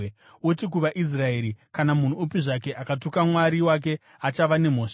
Uti kuvaIsraeri, ‘Kana munhu upi zvake akatuka Mwari wake achava nemhosva;